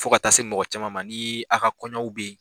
Fo ka taa se mɔgɔ caman ma ni a ka kɔɲɔw bɛ yen.